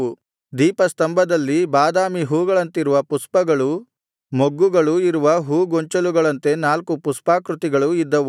ದೀಪಸ್ತಂಭದಲ್ಲಿ ಬಾದಾಮಿ ಹೂವುಗಳಂತಿರುವ ಪುಷ್ಪಗಳೂ ಮೊಗ್ಗುಗಳೂ ಇರುವ ಹೂ ಗೊಂಚಲುಗಳಂತೆ ನಾಲ್ಕು ಪುಷ್ಪಾಕೃತಿಗಳು ಇದ್ದವು